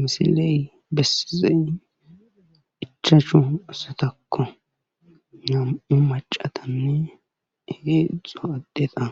misiley bessizey ichachu asatakko nam7u macatanne egeeixo addheta